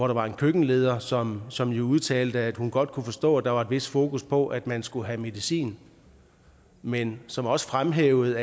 der en køkkenleder som som udtalte at hun godt kunne forstå at der var et vist fokus på at man skulle have medicin men som også fremhævede